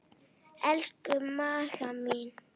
Elsku Magga mín.